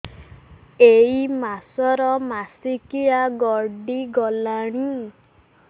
ଏଇ ମାସ ର ମାସିକିଆ ଗଡି ଗଲାଣି